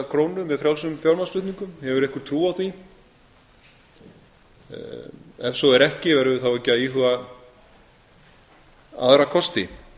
krónu með frjálsum fjármagnsflutningum hefur einhver trú á því ef svo er ekki verðum við þá ekki að íhuga aðra kosti